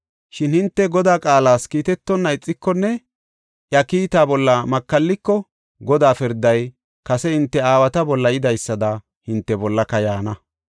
Shin hinte Godaa qaalas kiitetonna ixikonne iya kiitaa bolla makalliko, Godaa pirday kase hinte aawata bolla yidaysada hinte bollaka yaana.